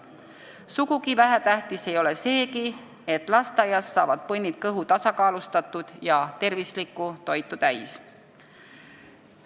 Sugugi vähetähtis ei ole seegi, et lasteaias saavad põnnid kõhu tasakaalustatud ja tervislikku toitu täis.